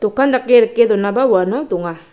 okan dake rike donaba uano donga.